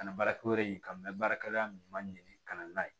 Ka na baarakɛyɔrɔ in kan mɛ baarakɛla ɲuman ka na n'a ye